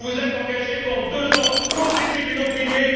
Vous vous êtes engagés pendant deux ans contre les tribunaux privés.